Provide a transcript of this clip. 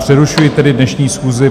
Přerušuji tedy dnešní schůzi.